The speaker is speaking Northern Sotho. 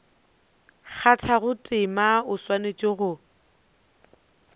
kgathago tema o swanetše go